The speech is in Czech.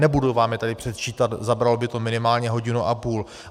Nebudu vám je tady předčítat, zabralo by to minimálně hodinu a půl.